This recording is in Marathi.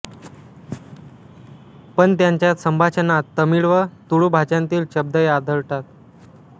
पण त्यांच्या संभाषणात तमिळ व तुळू भाषांतील शब्दही आढळतात